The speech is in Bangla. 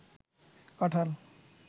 কাঁঠাল